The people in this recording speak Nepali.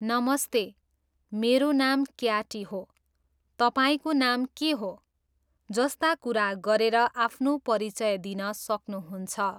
नमस्ते, मेरो नाम क्याटी हो, तपाईँको नाम के हो ?' जस्ता कुरा गरेर आफ्नो परिचय दिन सक्नुहुन्छ।